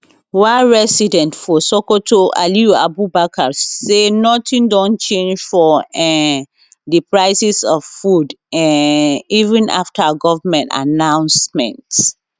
one resident for sokoto aliyu abubakar say nothing don change for um di prices of food um even afta goment announcement